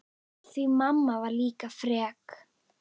Því mamma var líka frek.